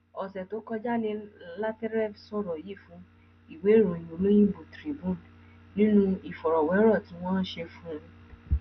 ọsẹ tó kọjá ni lateref sọrọ yìí fún ìwé ìròyìn olóyinbo tribune nínú ìfọrọwérọ tí wọn ṣe fún un